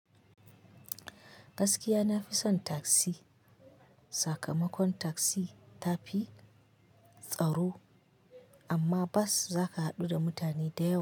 Gaskiya nafison taksi, sakamakon taksi tafi tsaro, amma bas zaka hadu da mutane da yawa.